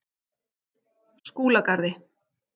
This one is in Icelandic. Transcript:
Skúlagarði